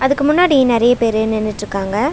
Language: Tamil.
அதுக்கு முன்னாடி நெறைய பேரு நின்னுட்ருக்காங்க.